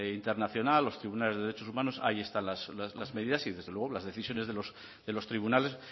internacional los tribunales de derechos humanos ahí están las medidas y desde luego las decisiones de los tribunales